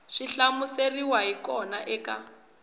swi hlamuseriweke hi kona eka